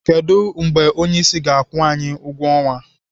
Kedụ mgbe onyeisi ga-akwụ anyị ụgwọ ọnwa?